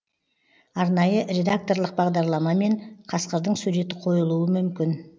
арнайы редакторлық бағдарламамен қасқырдың суреті қойылуы мүмкін